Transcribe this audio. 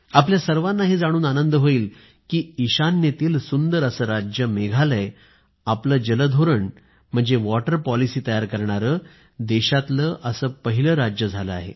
आपल्या सर्वाना हे जाणून आनंद होईल की ईशान्येतील सुंदर असं राज्य मेघालय आपलं जल धोरण तयार करणारं देशातील असं पहिलं राज्य झालं आहे